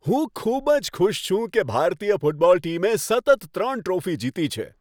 હું ખૂબ જ ખુશ છું કે ભારતીય ફૂટબોલ ટીમે સતત ત્રણ ટ્રોફી જીતી છે.